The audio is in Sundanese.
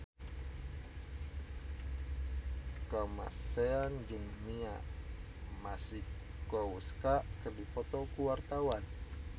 Kamasean jeung Mia Masikowska keur dipoto ku wartawan